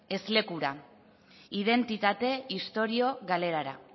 ezlekura identitate istorio galerara